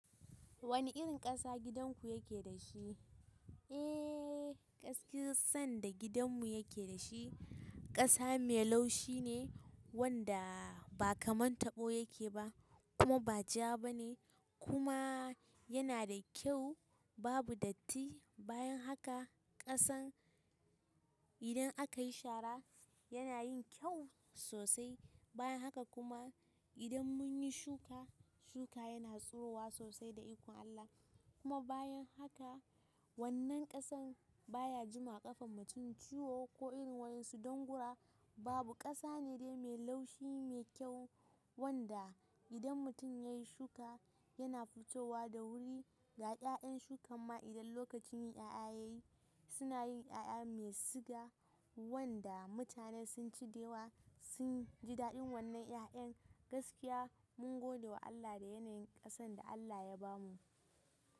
Wane irin ƙasa gidanku yake da shi? Eh, gaskiyar sanda gidanmu yake da shi, ƙasa mai laushi ne wanda ba ka man taɓo yake ba kuma ba ja ba ne, kuma yana da kyau, babu datti. Bayan haka ƙasan idan aka yi shara yana yin kyau sosai. Bayan haka kuma idan mun yi shuka, shuka yana tsirowa sosai da iko Allah. Kuma bayan haka wannan ƙasan baya jima ƙafan mutum ciwo ko irin wani sudangura, babu ƙasa ne dai mai laushi mai kyau wanda idan mutum ya yi shuka yana fitowa da wuri. Ga 'ya'yan shukan ma idan lokacin yi ƴaƴa ya yi, suna yin ƴaƴa mai siga wanda mutane sun ci da yawa sun ji daɗin wannan 'ya'yan. Gaskiya mun gode wa Allah da yanayin ƙasan da Allah ya bamu.